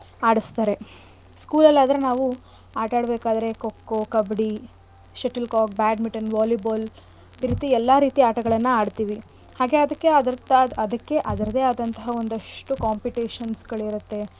ಆಡಸ್ತಾರೆ School ಅಲ್ ಆದರೆ ನಾವು ಆಟಾಡ್ಬೇಕಾದ್ರೆ kho kho, kabaddi, shuttle cock, badminton, volley ball ಈ ರೀತಿ ಎಲ್ಲಾ ರೀತಿಯ ಆಟಗಳ್ನ ಆಡ್ತಿವಿ ಹಾಗೆ ಅದಕ್ಕೆ ಆದಂತ~ ಅದಕ್ಕೆ ಅದರದ್ದೇ ಆದಂತಹ ಒಂದಿಷ್ಟು competition ಗಳು ಇರತ್ತೆ.